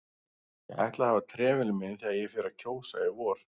Ég ætla að hafa trefilinn minn þegar ég fer að kjósa í vor